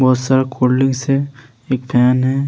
बहुत सारा cold drinks है एक फैन है।